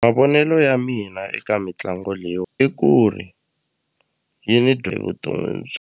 Mavonelo ya mina eka mitlangu leyiwa i ku ri yi ni vuton'wini .